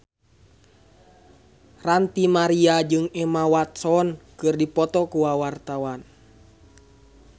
Ranty Maria jeung Emma Watson keur dipoto ku wartawan